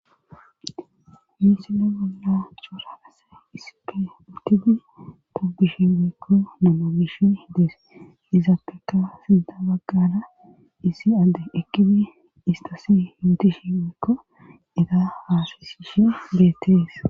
misile bolla coraase ispe utidi tobishi geekko namogish hdees izappeka sida baggana isi adde ekidi istasi yootishi beekko eta haasasishe beettees